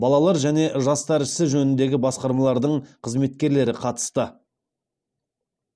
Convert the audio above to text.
балалар және жастар істері жөніндегі басқармалардың қызметкерлері қатысты